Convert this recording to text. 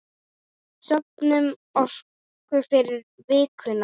Söfnum orku fyrir vikuna.